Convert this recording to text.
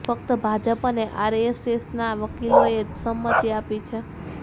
ફકત ભાજપ અને આરએસએસના વકીલોએ જ સંમતિ આપી છે